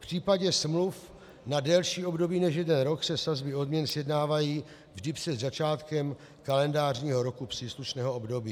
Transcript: V případě smluv na delší období než 1 rok se sazby odměn sjednávají vždy před začátkem kalendářního roku příslušného období."